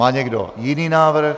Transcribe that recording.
Má někdo jiný návrh?